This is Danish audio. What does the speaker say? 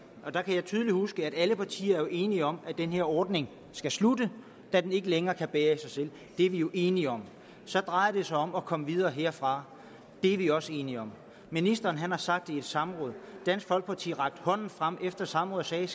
der kan jeg tydeligt huske at alle partier jo var enige om at den her ordning skulle slutte da den ikke længere kunne bære i sig selv det er vi jo enige om så drejer det sig om at komme videre herfra det er vi også enige om ministeren har sagt det i et samråd dansk folkeparti rakte hånden frem efter samrådet og sagde